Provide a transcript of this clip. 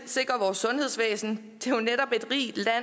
sikre vores sundhedsvæsen